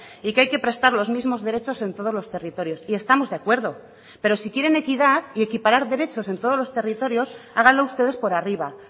y que hay que prestar los mismos derechos en todos los territorios y estamos de acuerdo pero si quieren equidad y equiparar derechos en todos los territorios háganlo ustedes por arriba